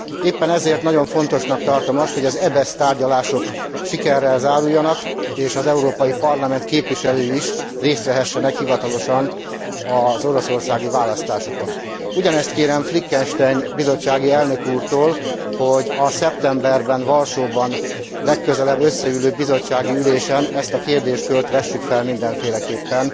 Éppen ezért nagyon fontosnak tartom azt, hogy az EBESZ tárgyalások sikerrel záruljanak, és az Európai Parlament képviselői is részt vehessenek hivatalosan az oroszországi választásokon. Ugyanezt kérem Fleckenstein bizottsági elnök úrtól, hogy a szeptemberben, Varsóban legközelebb összeülő bizottsági ülésen ezt a kérdéskört vessük fel mindenféleképpen